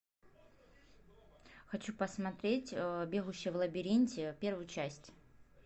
хочу посмотреть бегущий в лабиринте первую часть